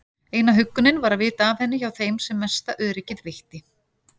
Eina huggunin var að vita af henni hjá þeim sem mesta öryggið veitti.